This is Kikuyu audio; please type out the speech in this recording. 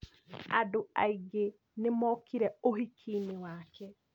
Andũ aingĩ nĩ mokire ũhiki-inĩ wake